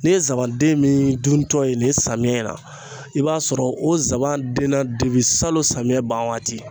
N'i ye zaban den miin duntɔ ye nin ye samiyɛ na i b'a sɔrɔ o zaban denna debi salon samiyɛ ban waati.